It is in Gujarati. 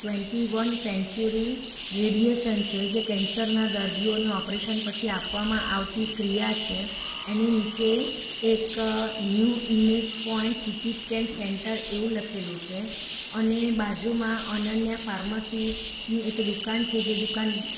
ટ્વેન્ટી વન સેન્ચ્યુરી રેડીએશન છે જે કેન્સર ના દર્દીઓને ઓપરેશન પછી આપવામાં આવતી ક્રિયા છે એની નીચે એક new image point CT scan centre એવું લખેલું છે અને બાજુમાં અનન્યા ફાર્મસી ની એક દુકાન છે જે દુકાન --